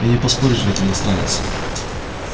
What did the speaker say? и не поспоришь ведь иностранец